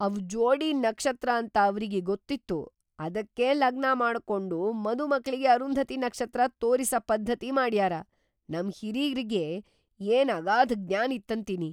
‌ಅವ್ ಜೋಡಿ ನಕ್ಷತ್ರ ಅಂತ ಅವ್ರಿಗಿ ಗೊತ್ತಿತ್ತು ಅದಕ್ಕೇ ಲಗ್ನ ಮಾಡ್ಕೊಂಡ್‌ ಮದುಮಕ್ಳಿಗಿ ಅರುಂಧತಿ ನಕ್ಷತ್ರ ತೋರಿಸ ಪದ್ಧತಿ ಮಾಡ್ಯಾರ, ನಮ್ ಹಿರೇರಿಗಿ ಏನ್‌ ಅಗಾಧ ಜ್ಞಾನ್‌ ಇತ್ತಂತಿನಿ.